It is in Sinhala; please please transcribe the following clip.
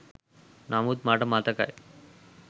නමුත් මට මතකයි